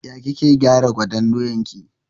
Ya kike gyara gwaten doyan ki?